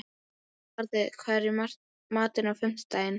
Barði, hvað er í matinn á fimmtudaginn?